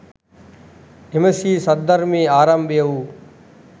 එම ශ්‍රී සද්ධර්මයේ ආරම්භය වූ